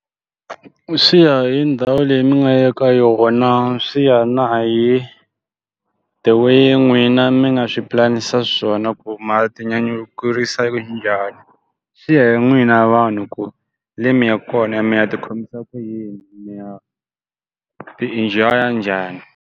Swi ya hi ndhawu leyi mi nga ya ka yona swi ya na hi, the way n'wina mi nga swi pulanisa xiswona ku mi ya ti nyanyukisa njhani. Swi ya hi n'wina vanhu ku le mi ya ka kona ya mi ya ti khomisa ku yini mi ya ti-enjoy-a njhani.